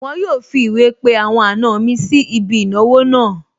Wọn yóò fi ìwé pe àwọn àna mi sí ibi ìnáwó náà